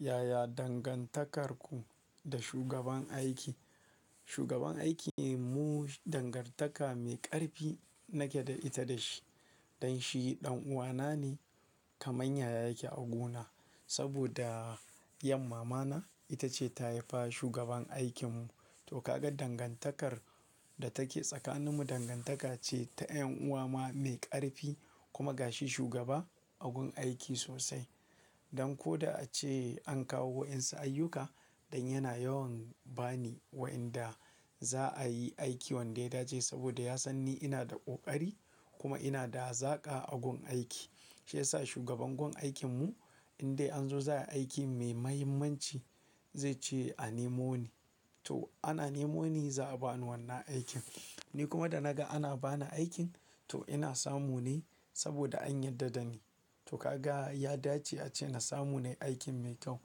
Yaya dangantakarku da shugaban aiki? Shugaban aiki ne mu dangantaka mai ƙarfi nake da ita da shi. Dan shi ɗan uwana ne kamar yaya yake a guna. Saboda yan mamana ita ce ta haifa shugaban aikin mu. To ka ga dangantakar da take tsakanin mu dangantaka ce ta yan'uwa ma mai ƙarfi kuma ga shi shugaba a gun aiki sosai. Dan ko da ace an kawo wa'yansu ayyuka, dan yana yawan ba ni wa'inda za'a yi aiki wanda ya dace saboda ya san ni ina da ƙoƙari kuma ina da hazaƙa a gun aiki. Shi yasa shugaban gun aikin mu in dai an zo za'ai aiki muhimmanci, zai ce a nemo ni. To ana nemo ni za'a ba ni wannan aikin. Ni kuma da na ga ana ba ni aikin to ina samu ne saboda an yarda da ni. To ka ga ya dace ace na samu nayi aikin mai kau.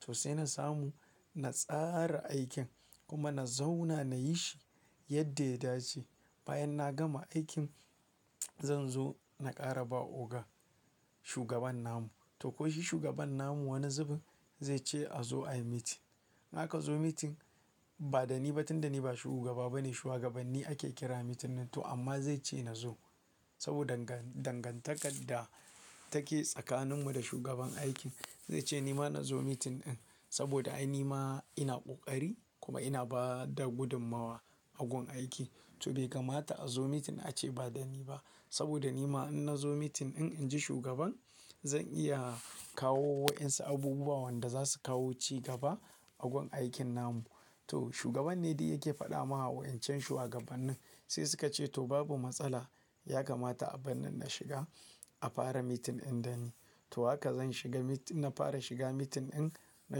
To sai na samu, na tsara aikin kuma na zauna na yi shi yadda ya dace. Bayan na gama aikin, zan zo na ƙara ba Oga, shugaban namu. To ko shi shugaban namu wani zubin zai ce a zo ayi meeting. Idan aka zo meeting ba da ni ba tunda ni ba shugaba ba ne shugabanni ake kira meeting nan. To amma zai ce na zo saboda dangantakar da take tsakanin mu da shugaban aikin. Zai ce nima na zo meeting ɗin saboda ai nima ina ƙoƙari kuma ina bada gudummawa a gun aiki. To bai kamata a zo meeting ace ba da ni ba saboda nima in na zo meeting in, in ji shugaban zan iya kawo wa'yansu abubuwa wanda za su kawo cigaba a gun aikin namu. To shugaban ne duk yake faɗa ma wa'ancan shugabannin. Sai suka ce to babu matsala, ya kamata a barnii na shiga a fara meeting ɗin da ni. To haka zan shiga na fara shiga meeting ɗin na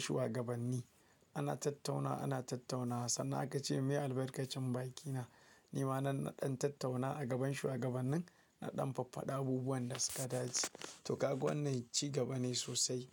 shugabanni. Ana tattauna, ana tattaunawa sannan aka ce me albarkacin baƙi na nima nan na ɗan tattauna a gaban shugabannin, na ɗan faffada abubuwan da suka dace. To ka ga wannan ci gaba ne sosai.